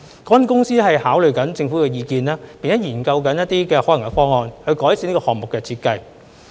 港鐵公司正在考慮政府的意見，並正研究一些可行方案，以改善這個項目的設計。